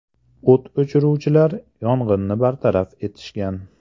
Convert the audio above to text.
O‘t o‘chiruvchilar yong‘inni bartaraf etishgan.